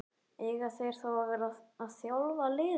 Eiga þeir þá að vera að þjálfa liðið?